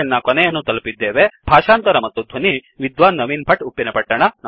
ಧನ್ಯವಾದಗಳು ಭಾಷಾಂತರ ಮತ್ತು ಧ್ವನಿ ವಿದ್ವಾನ್ ನವೀನ್ ಭಟ್ ಉಪ್ಪಿನಪಟ್ಟಣ